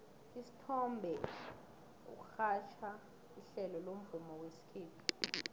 usithombe urhatjha ihlelo lomvumo wesikhethu